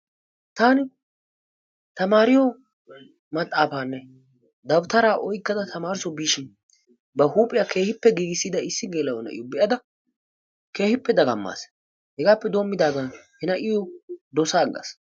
Taani tamaariyo maxaafaanne dabitaraa oykkada tamaareso biishin ba huuphiya keehippe giigissida issi gela'o na'iyo be'ada keehippe dagammaas. Hegaappe doommidaagan he na'iyo dosaaggaas.